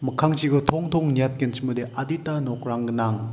mikkangchiko tongtong niatgenchimode adita nokrang gnang.